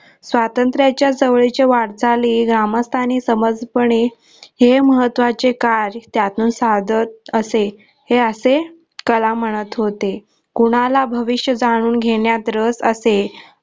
स्वातंत्र्याच्या जवळील वार्ताली ग्रामस्तानी समज पडेल हे महत्वाचे काय त्यान साधत असे हे असे कलाम म्हणत होते कोणाला भविष्य जाणून घेण्यात रस असेल